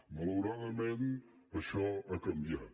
malauradament això ha canviat